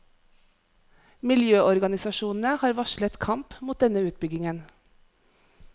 Miljøorganisasjonene har varslet kamp mot denne utbyggingen.